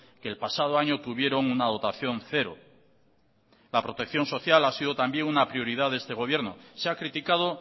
que el pasado año tuvieron una dotación cero la protección social ha sido también una prioridad de este gobierno se ha criticado